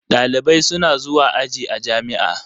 Ɗalibai suna zuwa aji a jami'a.